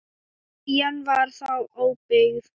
Eyjan var þá óbyggð.